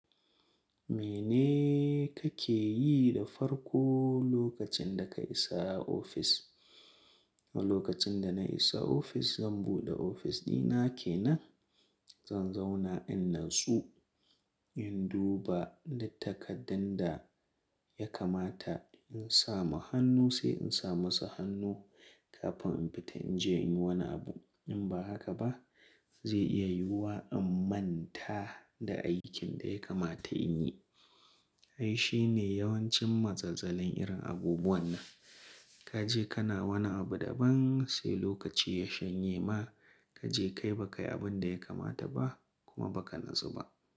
Mene kake yi da farko lokacin da ka isa ofis? Lokacin da na isa ofis, zan buɗe ofis ɗina kenan, zan zauna innansu, in duba duk taƙaddan da ya kamata, in sama hannu sai in sa masa hannu kafin in fita in je in yi wani abu. In ba haka ba zai iya yiwuwa in manta da aikin da ya kamata in yi. Ai shine yawancin mazazzalin irin abubuwan nan. Ka je kana wani abu daban sai lokaci ya shanye ma, ka je kai ba kai abin da ya kamata ba kuma ba ka natsu ba.